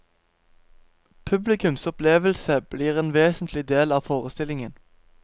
Publikums opplevelse blir en vesentlig del av forestillingen.